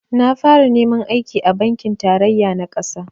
Na fara neman aiki a bankin tarayya na ƙasa